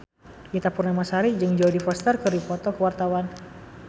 Ita Purnamasari jeung Jodie Foster keur dipoto ku wartawan